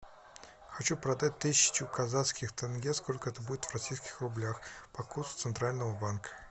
хочу продать тысячу казахских тенге сколько это будет в российских рублях по курсу центрального банка